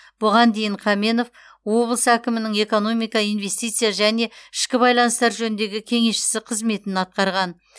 бұған дейін қаменов облыс әкімінің экономика инвестиция және ішкі байланыстар жөніндегі кеңесшісі қызметін атқарған